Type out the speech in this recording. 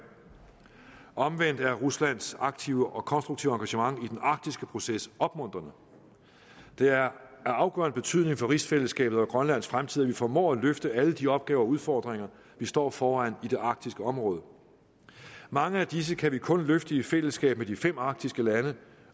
omvendt er ruslands aktive og konstruktive engagement i den arktiske proces opmuntrende det er af afgørende betydning for rigsfællesskabet og grønlands fremtid at vi formår at løfte alle de opgaver og udfordringer vi står foran i det arktiske område mange af disse kan vi kun løfte i fællesskab med de fem arktiske lande